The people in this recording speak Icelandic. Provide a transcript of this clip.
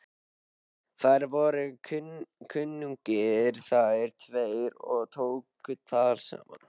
Þeir voru kunnugir þessir tveir og tóku tal saman.